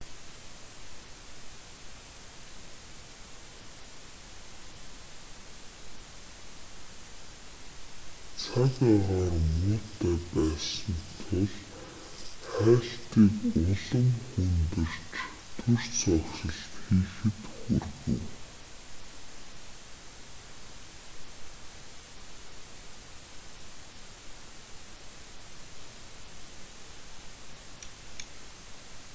цаг агаар муутай байсан тул хайлтыг улам хүндэрч түр зогсолт хийхэд хүргэв